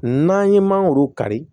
N'an ye mangoro kari